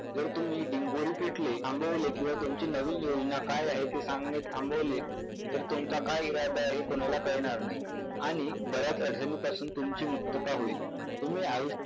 जर तुम्ही डिंगोरे पिटले थांबवले किंवा तुमची नवीन योजना काय आहे ते सांगणे थांबवले तर तुमचा काय इरादा आहे हे कुणाला कळणार नाही आणि बर्याच अधानिपासून तुमची मुक्तता होईल.